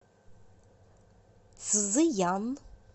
цзыян